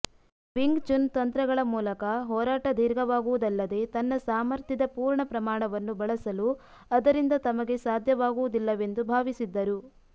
wing Chun ತಂತ್ರಗಳ ಮೂಲಕ ಹೋರಾಟ ದೀರ್ಘವಾಗುವುದಲ್ಲದೇ ತಮ್ಮ ಸಾಮರ್ಥ್ಯದ ಪೂರ್ಣ ಪ್ರಮಾಣವನ್ನು ಬಳಸಲು ಅದರಿಂದ ತಮಗೆ ಸಾಧ್ಯವಾಗುವುದಿಲ್ಲವೆಂದು ಭಾವಿಸಿದ್ದರು